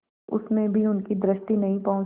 उसमें भी उनकी दृष्टि नहीं पहुँचती